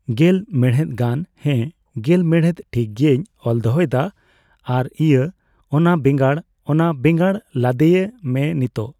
ᱜᱮᱞ ᱢᱮᱲᱦᱮᱫ ᱜᱟᱱ ᱦᱮᱸ᱾ ᱜᱮᱞ ᱢᱮᱲᱦᱮᱫ ᱴᱷᱤᱠ ᱜᱮᱭᱟᱧ ᱚᱞ ᱫᱚᱦᱚᱭᱮᱫᱟ ᱾ ᱟᱨ ᱤᱭᱟᱹ ᱚᱱᱟ ᱵᱮᱸᱜᱟᱬ, ᱚᱱᱟ ᱵᱮᱸᱜᱟᱬ ᱞᱟᱫᱮᱭ ᱢᱮ ᱱᱤᱛᱳᱝ ᱾